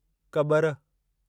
कॿरि